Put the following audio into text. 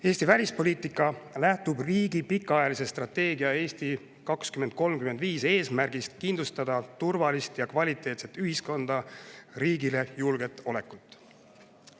Eesti välispoliitika lähtub riigi pikaajalise strateegia "Eesti 2035" eesmärgist kindlustada turvalist ja kvaliteetset ühiskonda, riigile julget olekut.